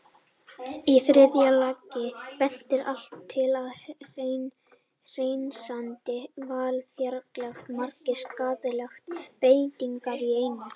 Í þriðja lagi bendir allt til að hreinsandi val fjarlægi margar skaðlegar breytingar í einu.